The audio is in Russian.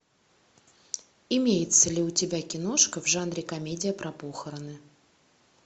имеется ли у тебя киношка в жанре комедия про похороны